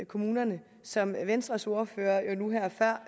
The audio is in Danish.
kommunerne som venstres ordfører nu her før